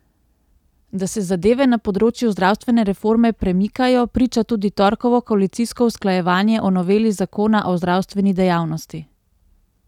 Da se zadeve na področju zdravstvene reforme premikajo, priča tudi torkovo koalicijsko usklajevanje o noveli zakona o zdravstveni dejavnosti.